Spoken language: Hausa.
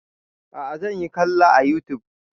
A'a zan kalla a youtube